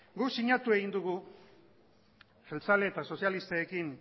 guk sinatu egin dugu jeltzale eta sozialistekin